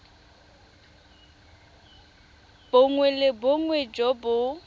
bongwe le bongwe jo bo